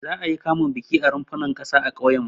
Za'a yi kamun bikin a runfunan ƙasa a ƙauyenmu.